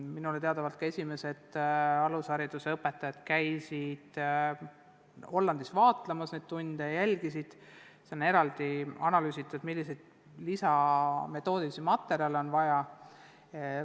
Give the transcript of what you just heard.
Minu teada käisid esimesed alushariduse õpetajad Hollandis nende tunde vaatlemas ja kindlaks tegemas, milliseid metoodilisi materjale on lisaks vaja.